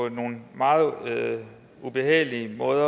nogle meget ubehagelige måder